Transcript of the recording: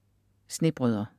Snebrødre